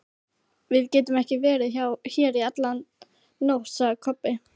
Við getum ekki verið hér í alla nótt, sagði Kobbi.